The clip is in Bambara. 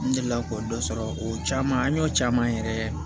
N delila k'o dɔ sɔrɔ o caman an y'o caman yɛrɛ